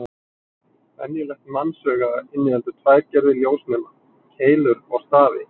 Venjulegt mannsauga inniheldur tvær gerðir ljósnema: Keilur og stafi.